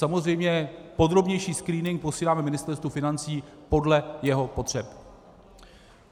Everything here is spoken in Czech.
Samozřejmě podrobnější screening posíláme Ministerstvu financí podle jeho potřeb.